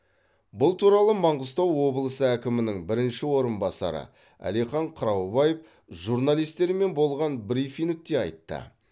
бұл туралы маңғыстау облысы әкімінің бірінші орынбасары әлихан қыраубаев журналистермен болған брифингте айтты